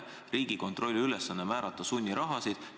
Riigikontrolli ülesanne ei ole määrata sunnirahasid.